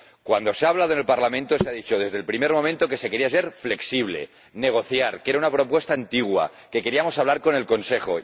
En el Parlamento se ha dicho desde el primer momento que se quería ser flexible, negociar, que era una propuesta antigua, que queríamos hablar con el Consejo.